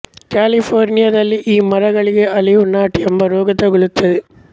ಕ್ಯಾಲಿಫೋರ್ನಿಯದಲ್ಲಿ ಈ ಮರಗಳಿಗೆ olive knot ಎಂಬ ರೋಗ ತಗಲುತ್ತದೆ